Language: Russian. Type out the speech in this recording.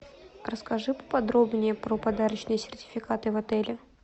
расскажи поподробнее про подарочные сертификаты в отеле